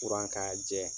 Kuran k'a jɛ